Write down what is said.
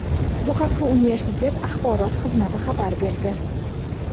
Bu haqda universitet axborot xizmati xabar berdi.